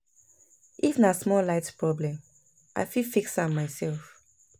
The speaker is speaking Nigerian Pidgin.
If na small light problem, I fit fix am mysef.